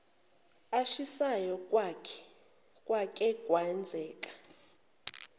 ashisayo kwake kwenzeka